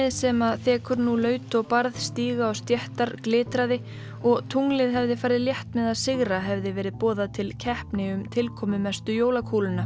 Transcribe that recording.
sem þekur nú laut og stíga og stéttar glitraði og tunglið hefði farið létt með að sigra hefði verið boðað til keppni um tilkomumestu jólakúluna kúlurnar